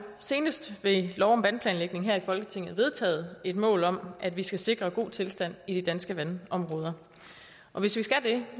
senest ved lov om vandplanlægning her i folketinget vedtaget et mål om at vi skal sikre god tilstand i de danske vandområder hvis vi skal det